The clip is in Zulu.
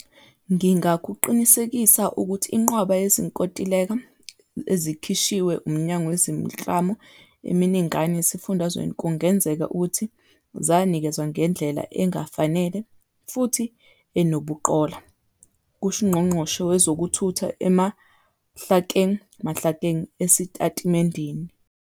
"Ngingakuqinisekisa ukuthi inqwaba yezinkontileka ezikhishwe umnyango zemiklamo eminingana esifundazweni kungenzeka ukuthi zanikezwa ngendlela engafanele futhi enobuqola," kusho uNgqongqoshe wezokuThutha uMahlakeng Mahlakeng esitatimendeni.